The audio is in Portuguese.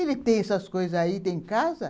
Ele tem essas coisas aí, tem casa.